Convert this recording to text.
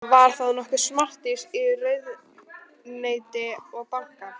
Var það nokkuð samtímis í ráðuneyti og banka.